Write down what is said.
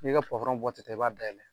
I b'i ka ta i b'a dayɛlɛ